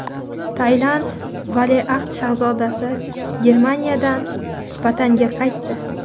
Tailand valiahd shahzodasi Germaniyadan vataniga qaytdi.